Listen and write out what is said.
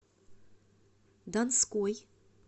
донской